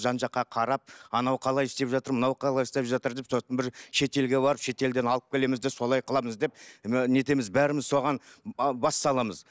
жан жаққа қарап анау қалай істеп жатыр мынау қалай істеп жатыр деп сосын бір шет елге барып шет елден алып келеміз де солай қыламыз деп мына нетеміз баріміз соған ы бас саламыз